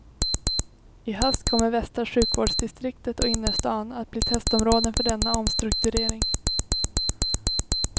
I höst kommer västra sjukvårdsdistriktet och innerstan att bli testområden för denna omstrukturering.